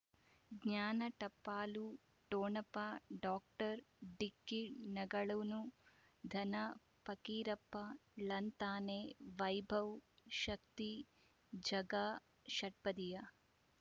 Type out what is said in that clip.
ಜ್ಞಾನ ಟಪಾಲು ಠೊಣಪ ಡಾಕ್ಟರ್ ಢಿಕ್ಕಿ ಣಗಳನು ಧನ ಪಕೀರಪ್ಪ ಳಂತಾನೆ ವೈಭವ್ ಶಕ್ತಿ ಝಗಾ ಷಟ್ಪದಿಯ